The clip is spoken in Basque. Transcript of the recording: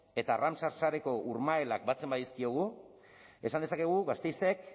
eta arrantza sareko urmaelak batzen badizkiegu esan dezakegu gasteizek